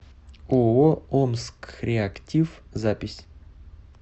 ооо омскреактив запись